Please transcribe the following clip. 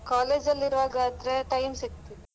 College ಅಲ್ಲಿ ಇರುವಾಗಾದ್ರೆ time ಸಿಗ್ತಿತ್ತು.